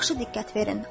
Yaxşı diqqət verin.